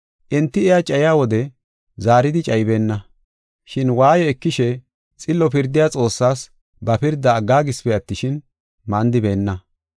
Enti iya cayiya wode, zaaridi cayibeenna. Shin waaye ekishe xillo pirdiya Xoossaas ba pirda aggaagisipe attishin, mandibeenna.